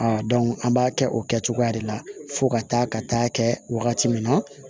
A an b'a kɛ o kɛcogoya de la fo ka taa ka taa kɛ wagati min na